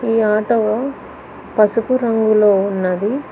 ఈ ఆటో పసుపు రంగులో ఉన్నది.